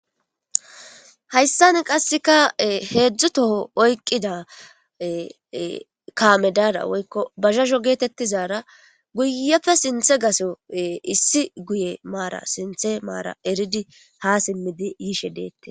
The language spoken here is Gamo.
Hayisan qaseka e hezu toho oyikida kamezayra woyiko bajajo geyara guyepe sintha gaso sinithe mara eridi hasimidi yishedes